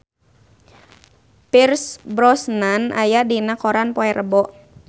Pierce Brosnan aya dina koran poe Rebo